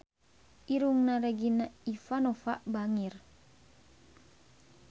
Irungna Regina Ivanova bangir